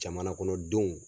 Jamana kɔnɔ denw